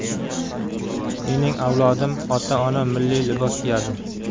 Mening avlodim, ota-onam milliy libos kiyadi.